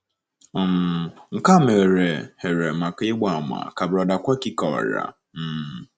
um Nke a meghere here maka ịgba àmà, ka Brother Kwakye kọwara. um